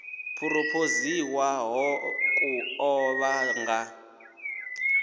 phurophoziwaho ku ḓo vha nga